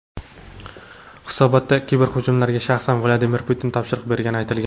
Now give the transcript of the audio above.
Hisobotda kiberhujumlarga shaxsan Vladimir Putin topshiriq bergani aytilgan.